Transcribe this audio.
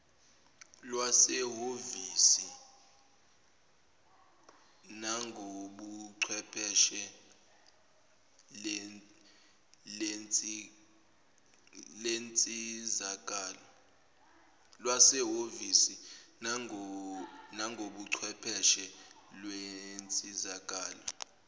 lwasehhovisi nangobuchwepheshe lensizakalo